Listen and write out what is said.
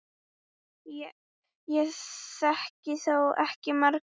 Ég þekki þó ekki margar.